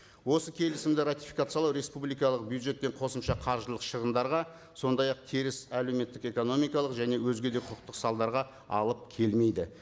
осы келісімді ратификациялау республикалық бюджеттен қосымша қаржылық шығындарға сондай ақ теріс әлеуметтік экономикалық және өзге де құқықтық салдарға алып келмейді